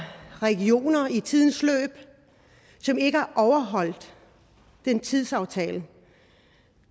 regioner i tidens løb som ikke har overholdt den tidsaftale